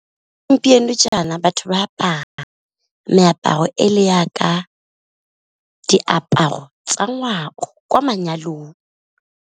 Gompieno jaana batho ba apara meaparo e le jaaka, diaparo tsa ngwao kwa manyalong.